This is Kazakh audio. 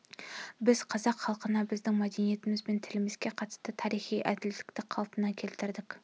біз қазақ халқына біздің мәдениетіміз бен тілімізге қатысты тарихи әділдікті қалпына келтірдік